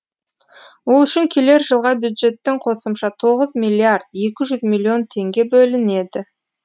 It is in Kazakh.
ол үшін келер жылға бюджеттен қосымша тоғыз миллиард екі жүз миллион теңге бөлінеді